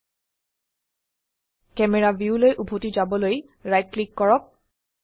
camera ভিউলৈ উভতি যাবলৈ ৰাইট ক্লিক কৰক